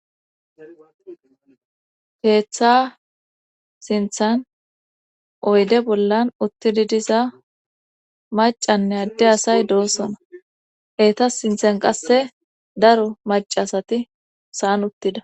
keeththa sinthan oyde bollan uttidi diza macanne adde asay doosona heeta sinthan qasse daro maca asati saan uttida